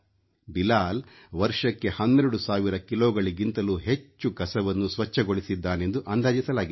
ಬಿಲಾಲ್ ವರ್ಷಕ್ಕೆ 12 ಸಾವಿರ ಕಿಲೋಗಿಂತಲೂ ಹೆಚ್ಚು ಕಸವನ್ನು ಸ್ವಚ್ಛಗೊಳಿಸಿದ್ದಾನೆಂದು ಅಂದಾಜಿಸಲಾಗಿದೆ